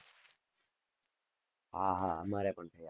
હા હા અમારે પણ થયા છે.